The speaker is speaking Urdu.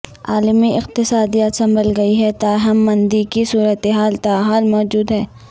عالمی اقتصادیات سنبھل گئی ہے تاہم مندی کی صورتحال تاحال موجود ہے